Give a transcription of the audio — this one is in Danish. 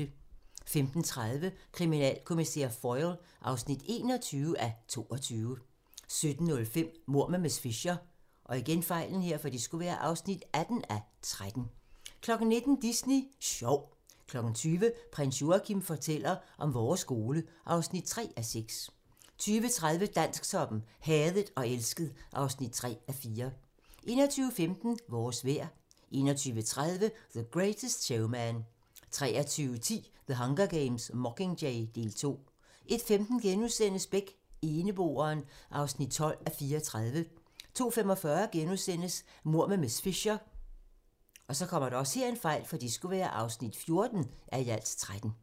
15:30: Kriminalkommissær Foyle (21:22) 17:05: Mord med miss Fisher (18:13) 19:00: Disney Sjov 20:00: Prins Joachim fortæller om vores skole (3:6) 20:30: Dansktoppen: Hadet og elsket (3:4) 21:15: Vores vejr 21:30: The Greatest Showman 23:10: The Hunger Games: Mockingjay - del 2 01:15: Beck: Eneboeren (12:34)* 02:45: Mord med miss Fisher (14:13)*